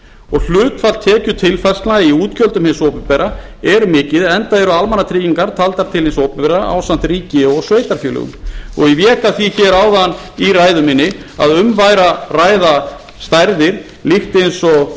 og hlutfall tekjutilfærslna í útgjöldum hins opinbera er mikið enda eru almannatryggingar taldar til hins opinbera ásamt ríki og sveitarfélögum ég vék að því áðan í ræðu minni að um væri að ræða stærðir líkt eins og